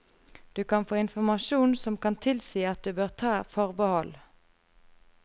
Du kan få informasjon som kan tilsi at du bør ta forbehold.